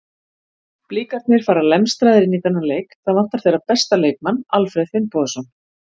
Blikarnir fara lemstraðir inn í þennan leik, það vantar þeirra besta leikmann Alfreð Finnbogason.